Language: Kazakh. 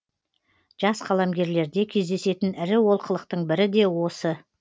жас қаламгерлерде кездесетін ірі олқылықтың бірі де осы